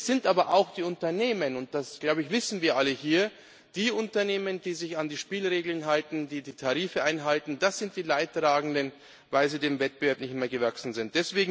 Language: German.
Es sind aber auch die Unternehmen und das, glaube ich, wissen wir alle hier die sich an die Spielregeln halten, die die Tarife einhalten sie sind die Leidtragenden, weil sie dem Wettbewerb nicht mehr gewachsen sind.